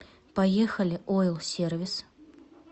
поехали оил сервис